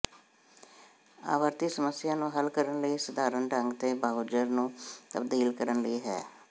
ਆਵਰਤੀ ਸਮੱਸਿਆ ਨੂੰ ਹੱਲ ਕਰਨ ਲਈ ਸਧਾਰਨ ਢੰਗ ਨੂੰ ਬਰਾਊਜ਼ਰ ਨੂੰ ਤਬਦੀਲ ਕਰਨ ਲਈ ਹੈ